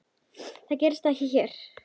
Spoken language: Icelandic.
Það gerist ekki hér.